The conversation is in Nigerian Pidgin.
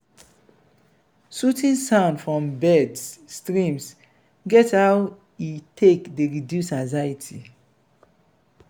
soothing sound from birds streams get how e take dey reduce anxiety